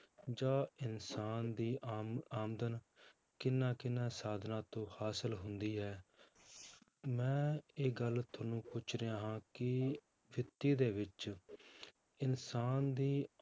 ਜਾਂ ਇਨਸਾਨ ਦੀ ਆਮ~ ਆਮਦਨ ਕਿਹਨਾਂ ਕਿਹਨਾਂ ਸਾਧਨਾਂ ਤੋਂ ਹਾਸ਼ਿਲ ਹੁੰਦੀ ਹੈ ਮੈਂ ਇਹ ਗੱਲ ਤੁਹਾਨੂੰ ਪੁੱਛ ਰਿਹਾ ਹਾਂ ਕਿ ਵਿੱਤੀ ਦੇ ਵਿੱਚ ਇਨਸਾਨ ਦੀ